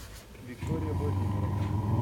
виктория владимировна